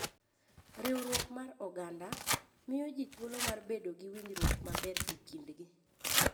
Riwruok mar Oganda: Miyo ji thuolo mar bedo gi winjruok maber e kindgi.